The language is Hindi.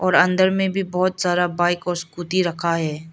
और अंदर में भी बहोत सारा बाइक और स्कूटी रखा है।